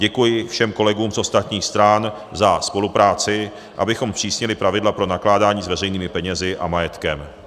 Děkuji všem kolegům z ostatních stran za spolupráci, abychom zpřísnili zpravidla pro nakládání s veřejnými penězi a majetkem.